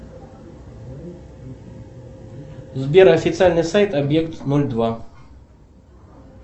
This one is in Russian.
сбер официальный сайт объект ноль два